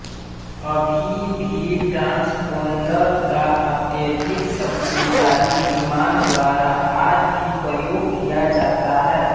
अभी भी ट्रांसपोंडर का अत्यधिक शक्तिशाली विमान द्वारा आज भी प्रयोग किया जाता है